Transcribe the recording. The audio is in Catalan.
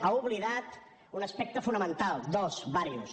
ha oblidat un aspecte fonamental dos diversos